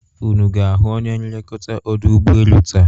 unu ga-ahụ onye nlekọta ọdụ ụbọelu taa?